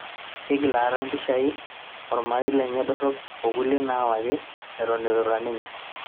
Igil aata impishai olmarei lenye dorop o kulie naawaki eton itu irura ninye